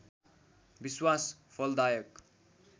विश्वास फलदायक